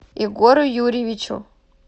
егору юрьевичу